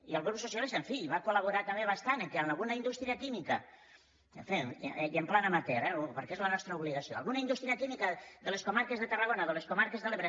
i el grup socialista en fi va col·laborar també bastant perquè alguna indústria química i en pla amateur eh perquè és la nostra obligació de les comarques de tarragona o de les comarques de l’ebre